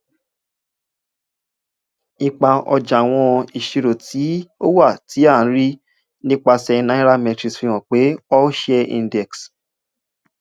ipa ọja awọn iṣiro ti o wa ti a rii nipasẹ nairametrics fihan pe all share index